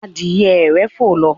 adìye rẹ fò ló.